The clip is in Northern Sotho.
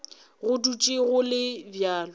go dutše go le bjalo